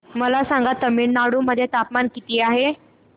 मला सांगा तमिळनाडू मध्ये तापमान किती आहे